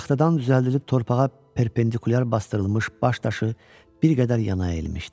Taxtadan düzəldilib torpağa perpendikulyar basdırılmış baş daşı bir qədər yana əyilmişdi.